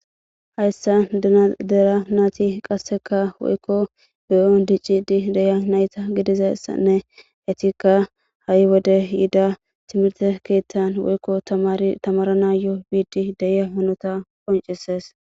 Hayssan de'iya naati qassikka woykko biron dicciddi de'iya nayta gidiza issanne nayettikka hayi wode ehiido timirtte keettan woykko tamare tamaranayyo biddi de'iya hanota qonccisses.